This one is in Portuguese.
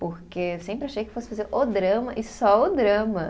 Porque eu sempre achei que fosse fazer o drama e só o drama.